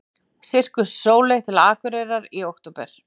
Sirkus Sóley til Akureyrar í október